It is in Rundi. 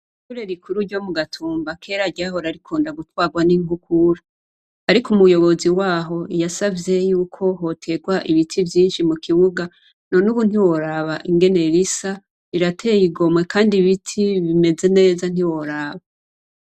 Ishure rikuru ryo mu Gatumba kera ryahora rikunda gutwarwa n'inkukura. Ariko umuyobozi waho yasavye yuko hoterwa ibiti vyinshi mu kibuga none ubu ntiworaba ingene risa rirateye igomwe kandi ibiti bimeze neza ntiworaba.